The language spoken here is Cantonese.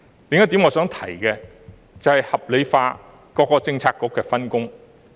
另一點我想提的是，合理化各政策局的分工。